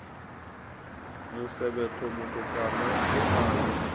musevhetho mutukana u a ya